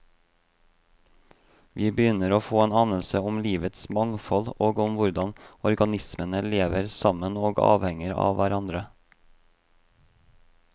Vi begynner å få en anelse om livets mangfold og om hvordan organismene lever sammen og avhenger av hverandre.